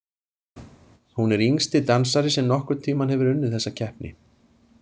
Hún er yngsti dansari sem nokkurn tímann hefur unnið þessa keppni.